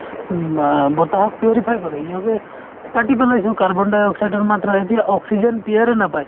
উম আ বতাহক purify কৰে কাটি পেলাইছো carbon dioxide ৰ মাত্ৰা এতিয়া oxygen য়ে নাপায়